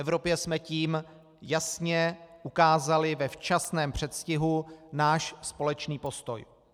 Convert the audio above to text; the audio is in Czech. Evropě jsme tím jasně ukázali ve včasném předstihu náš společný postoj.